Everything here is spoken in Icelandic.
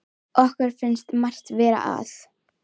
Okkur finnst margt vera að.